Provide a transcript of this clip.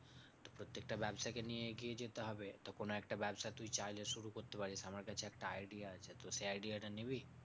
প্রত্যেকটা ব্যাবসাকে নিয়ে এগিয়ে যেতে হবে তো কোনো একটা ব্যাবসা তুই চাইলে শুরু করতে পারিস আমার কাছে একটা idea আছে, তো সেই idea টা নিবি?